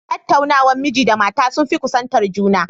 Tattaunawar miji da mata sun fi kusantar juna